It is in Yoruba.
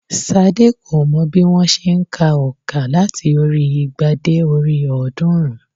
Sadé kò mọ bí wón se n ka ònkà láti orí i igba dé orí i ọ̀ọ́dúnrún